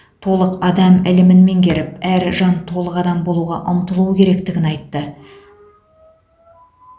толық адам ілімін меңгеріп әр жан толық адам болуға ұмтылуы керектігін айтты